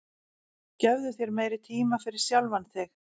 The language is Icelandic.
gefðu þér meiri tíma fyrir sjálfan þig